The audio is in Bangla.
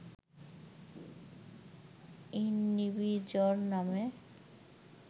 ইউনিবিজয় নামে